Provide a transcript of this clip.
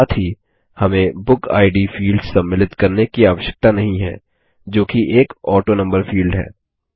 साथ ही हमें बुकिड फील्ड सम्मिलित करने की आवश्यकता नहीं है जोकि एक ऑटोनंबर फील्ड है